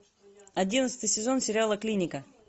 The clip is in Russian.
одиннадцатый сезон сериала клиника